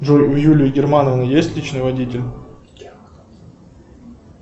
джой у юлии германовны есть личный водитель